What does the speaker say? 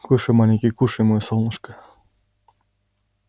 кушай маленький кушай моё солнышко